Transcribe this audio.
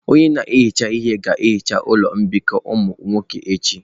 Onye na-ehicha ihe ga-ehicha ụlọ mbikọ ụmụ nwoke echi.